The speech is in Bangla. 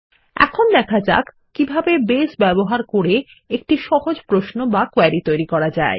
এখন দেখা যাক কিভাবে বেস ব্যবহার করে একটি সহজ প্রশ্ন বা কোয়েরি তৈরি করা যায়